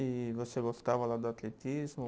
E você gostava lá do atletismo?